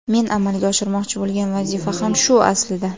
Men amalga oshirmoqchi bo‘lgan vazifa ham shu aslida.